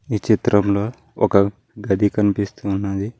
ఈ చిత్రంలో ఒక గది కనిపిస్తూ ఉన్నది.